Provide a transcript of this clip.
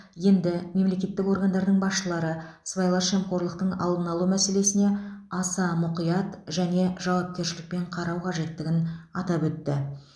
енді мемлекеттік органдардың басшылары сыбайлас жемқорлықтың алдын алу мәселесіне аса мұқият және жауапкершілікпен қарау қажеттігін атап өтті